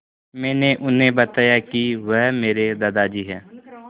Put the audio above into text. मैंने उन्हें बताया कि वह मेरे दादाजी हैं